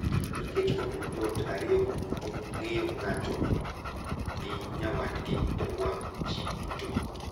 Nikech omiyo joot ariyogo duto ng’eyo ng’ato gi nyawadgi e wang’ ji duto .